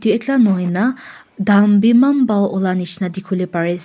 edu ekla nahoi na dhan b eman bhal ulai nishena dikhi bole pari ase.